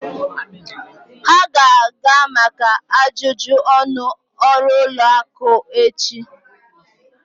Ha ga-aga maka ajụjụ ọnụ ọrụ ụlọ akụ echi.